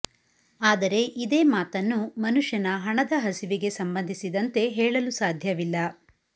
ಆದರೆ ಇದೇ ಮಾತನ್ನು ಮನುಷ್ಯನ ಹಣದ ಹಸಿವಿಗೆ ಸಂಬಂಸಿದಂತೆ ಹೇಳಲು ಸಾಧ್ಯವಿಲ್ಲ